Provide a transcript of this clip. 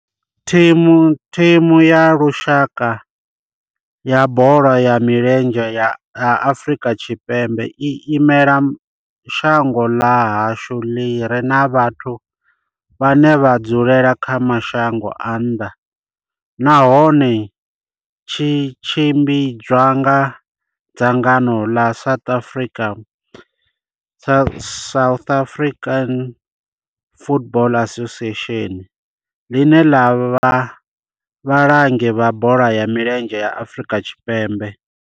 Thimu ya lushaka ya bola ya milenzhe ya Afrika Tshipembe i imela shango ḽa hashu ḽi re na vhathu vhane vha dzula kha mashango a nnḓa nahone tshi tshimbidzwa nga dzangano ḽa South African Football Association, ḽine ḽa vha vhalangi vha bola ya milenzhe ya Afrika Tshipembe.